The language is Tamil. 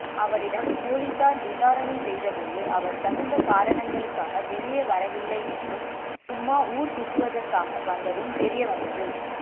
அவரிடம் போலீசார் விசாரணை செய்தபோது அவர் தகுந்த காரணங்களுக்காக வெளியே வரவில்லை என்றும் சும்மா ஊரைச் சுற்றுவதற்காக வந்ததும் தெரியவந்தது